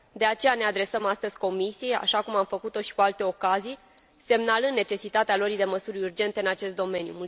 De aceea, ne adresăm astăzi Comisiei, așa cum am făcut o și cu alte ocazii, semnalând necesitatea luării de măsuri urgente în acest domeniu.